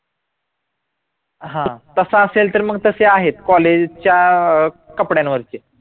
हा तसं असेल तर मग तसे आहेत college च्या कपड्यांवर